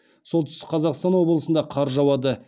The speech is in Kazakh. солтүстік қазақстан облысында қар жауады